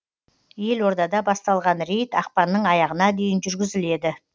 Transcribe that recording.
елордада басталған рейд ақпанның аяғына дейін жүргізіледі